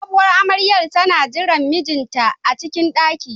Sabowar amaryar tana jiran mijinta a cikin ɗaki.